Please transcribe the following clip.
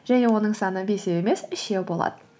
және оның саны бесеу емес үшеу болады